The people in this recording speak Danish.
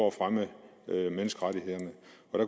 at fremme menneskerettighederne